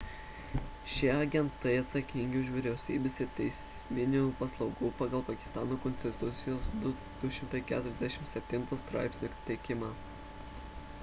šie agentai atsakingi už vyriausybės ir teisminių paslaugų pagal pakistano konstitucijos 247 straipsnį teikimą